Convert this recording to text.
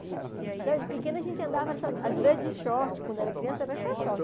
Então de pequena a gente andava só, às vezes de short, quando era criança era só short.